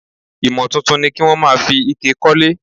Ìmò tuntun ni kí wón máa fi ike kólé.